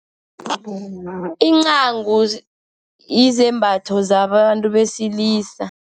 Incagu yizembatho zabantu besilisa.